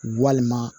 Walima